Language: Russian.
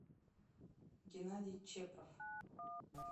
геннадий чепров